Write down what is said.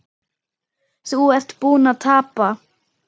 Þú ert búinn að tapa